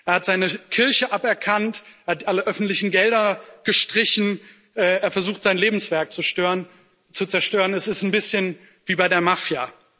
Er hat seine Kirche aberkannt, hat alle öffentlichen Gelder gestrichen, er versucht, sein Lebenswerk zu zerstören es ist ein bisschen wie bei der Mafia.